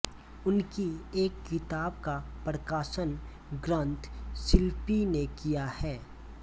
उनकी एक किताब का प्रकाशन ग्रंथ शिल्पी ने किया है